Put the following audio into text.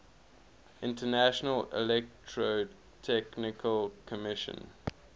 international electrotechnical commission